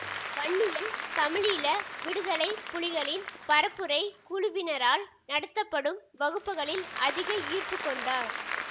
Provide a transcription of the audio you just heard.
வன்னியில் தமிழீழ விடுதலை புலிகளின் பரப்புரைக் குழுவினரால் நடத்தப்படும் வகுப்புக்களில் அதிக ஈர்ப்பு கொண்டார்